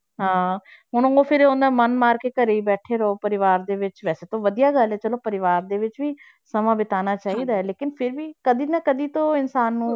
ਹਾਂ ਹੁਣ ਉਹ ਫਿਰ ਓਨਾ ਮਨ ਮਾਰ ਕੇ ਘਰੇ ਹੀ ਬੈਠੇ ਰਹੋ ਪਰਿਵਾਰ ਦੇ ਵਿੱਚ, ਵੈਸੇ ਤਾਂ ਵਧੀਆ ਗੱਲ ਹੈ ਚਲੋ ਪਰਿਵਾਰ ਦੇ ਵਿੱਚ ਵੀ ਸਮਾਂ ਬਤਾਉਣਾ ਚਾਹੀਦਾ ਹੈ ਲੇਕਿੰਨ ਫਿਰ ਵੀ ਕਦੇ ਨਾ ਕਦੇ ਤਾਂ ਇਨਸਾਨ ਨੂੰ,